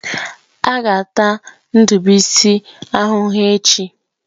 A ga-ata ndibuisi ahụhụ echi.